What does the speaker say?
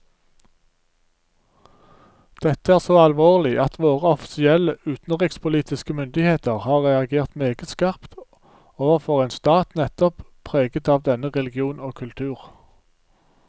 Dette er så alvorlig at våre offisielle utenrikspolitiske myndigheter har reagert meget skarpt overfor en stat nettopp preget av denne religion og kultur.